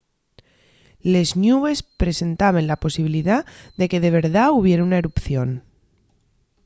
les ñubes presentaben la posibilidá de que de verdá hubiera una erupción